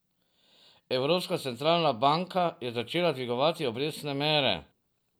Evropska Centralna Banka, je začela dvigovati obrestne mere...